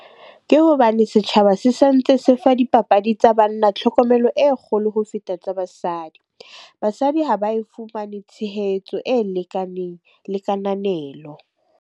Ke hobane setjhaba se santse se fa dipapadi tsa banna tlhokomelo e kgolo ho feta tsa basadi. Basadi ha ba e fumane tshehetso e lekaneng le kananelo.